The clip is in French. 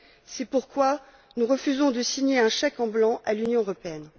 C'est pourquoi nous refusons de signer un chèque en blanc à l'Union européenne.